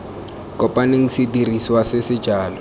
kopaneng sedirisiwa se se jalo